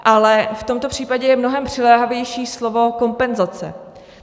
Ale v tomto případě je mnohem přiléhavější slovo kompenzace.